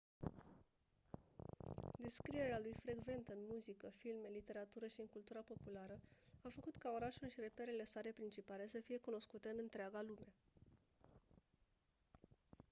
descrierea lui frecventă în muzică filme literatură și în cultura populară a făcut ca orașul și reperele sale principale să fie cunoscute în întreaga lume